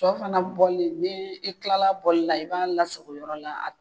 Sɔ fana bɔli ni i kilala a bɔli la i b'a lasago yɔrɔ la